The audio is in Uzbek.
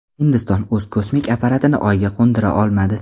Hindiston o‘z kosmik apparatini Oyga qo‘ndira olmadi.